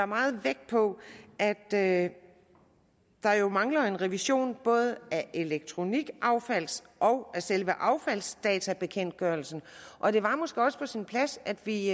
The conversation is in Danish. meget vægt på at der jo mangler en revision både af elektronikaffalds og af selve affaldsdatabekendtgørelsen og det var måske også på sin plads at vi